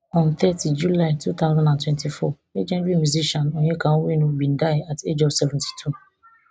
on thirty july two thousand and twenty-four legendary musician onyeka onwenu bin die at age of seventy-two